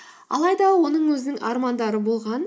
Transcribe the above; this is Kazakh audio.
алайда оның өзінің армандары болған